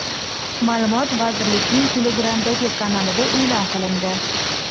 Ma’lumot vazirlikning Telegram’dagi kanalida e’lon qilindi .